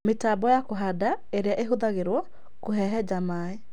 Mĩtambo ya kũhanda ĩrĩa ĩhũthagĩrũo kũhehenja maĩ